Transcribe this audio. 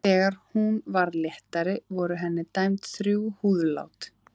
Þegar hún varð léttari voru henni dæmd þrjú húðlát.